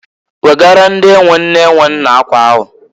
Wegaara ndị e nwe nne e nwe nna akwa ahụ!